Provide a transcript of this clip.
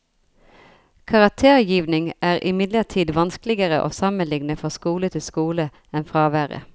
Karaktergivning er imidlertid vanskeligere å sammenligne fra skole til skole enn fraværet.